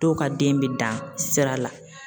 Dɔw ka den bɛ dan sira la